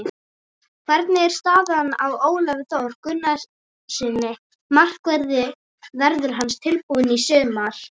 Hvernig er staðan á Ólafi Þór Gunnarssyni, markverði, verður hann tilbúinn í sumar?